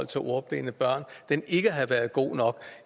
til ordblinde børn og den ikke har været god nok